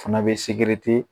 Fana bɛ